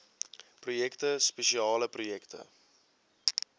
projekte spesiale projekte